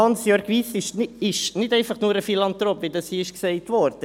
Hansjörg Wyss ist nicht einfach nur ein Philanthrop, wie hier gesagt wurde.